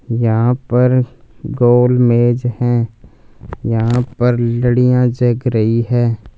यहां पर गोलमेज हैं यहां पर लड़ियां जग रही हैं।